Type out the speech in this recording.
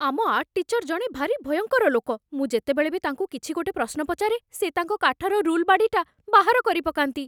ଆମ art teacher ଜଣେ ଭାରି ଭୟଙ୍କର ଲୋକ । ମୁଁ ଯେତେବେଳେ ବି ତାଙ୍କୁ କିଛି ଗୋଟେ ପ୍ରଶ୍ନ ପଚାରେ, ସେ ତାଙ୍କ କାଠର ରୁଲ୍‌ବାଡ଼ିଟା ବାହାର କରିପକାନ୍ତି ।